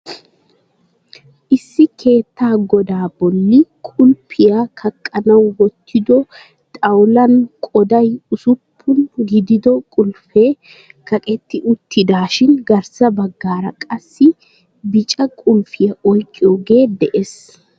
Issi keettaa godaa bolli qulpiya kaqanawu waaxido xawulan qooday usuppuna gidido qulfee kaqetti uttidaashin garssa bagara qassi bicca qulfiya oyqqiyogee dees.